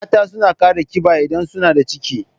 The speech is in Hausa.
Mata suna kara ƙiba idan suna da ciki